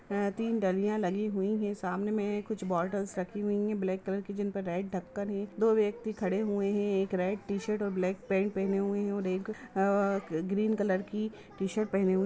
यहाँ तीन डलियां लगी हुई है सामने में कुछ बोटल्स रखी हुई है ब्लैक कलर की जिन पर रेड ढकन है एक दो व्यक्ति खड़े हुए है एक रेड टीशर्ट और ब्लैक पेन्ट पेहने हुए है और एक अ ग्रीन कलर की टीशर्ट पहने हुए --